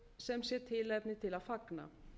sem sé tilefni til að fagna